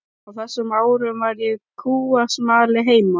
Á þessum árum var ég kúasmali heima.